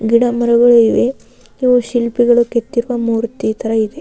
ಗಿಡ ಮರಗಳು ಇವೆ ಇವು ಶಿಲ್ಪಿಗಳು ಕೆತ್ತಿರುವ ಮೂರ್ತಿ ತರ ಇದೆ .